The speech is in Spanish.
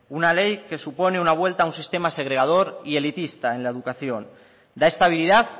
una ley que supone una vuelta a un sistema segregador y elitista en la educación da estabilidad